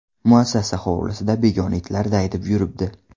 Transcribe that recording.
Muassasa hovlisida begona itlar daydib yuribdi.